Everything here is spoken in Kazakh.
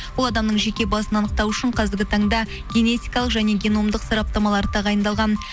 ол адамның жеке басын анықтау үшін қазіргі таңда генетикалық және геномдық сараптамалар тағайындалған